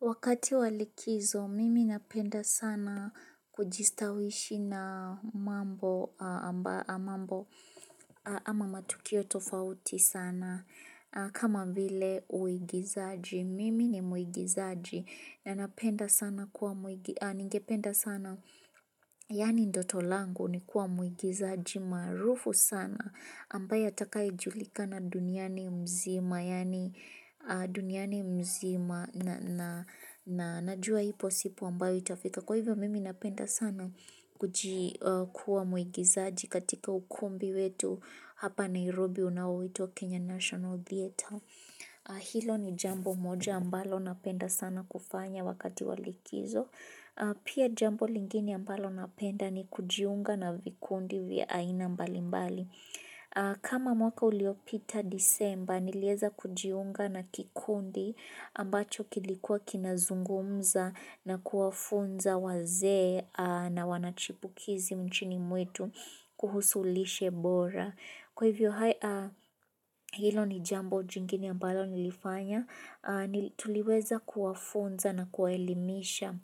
Wakati walikizo, mimi napenda sana kujistawishi na mambo ama matukio tofauti sana. Kama vile uigizaji, mimi ni mwigizaji na napenda sana kuwa mwigizaji. Ningependa sana, yaani ndoto langu ni kuwa mwigizaji maarufu sana. Ambaye atakayejulikana duniani mzima yaani duniani mzima na najua ipo siku ambayo itafika. Kwa hivyo mimi napenda sana kuwa mwigizaji katika ukumbi wetu hapa Nairobi unaoitwa Kenya national theatre hilo ni jambo moja ambalo napenda sana kufanya wakati wa likizo. Pia jambo lingine ambalo napenda ni kujiunga na vikundi vya aina mbalimbali. Kama mwaka uliopita Disemba, nilieza kujiunga na kikundi ambacho kilikuwa kinazungumza na kuwafunza wazee na wanachipukizi nchini mwetu kuhusu lishe bora. Kwa hivyo hilo ni jambo jingine ambalo nilifanya, tuliweza kuwafunza na kuwaelimisha